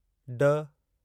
ड